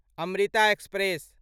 Amrita express